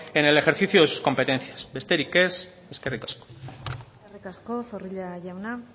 en el ejercicio de sus competencias besterik ez eskerrik asko eskerrik asko zorrilla jauna